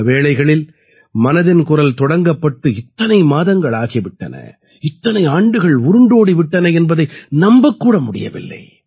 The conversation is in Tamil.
பல வேளைகளில் மனதின் குரல் தொடங்கப்பட்டு இத்தனை மாதங்கள் ஆகி விட்டன இத்தனை ஆண்டுகள் உருண்டோடி விட்டன என்பதை நம்பக் கூட முடியவில்லை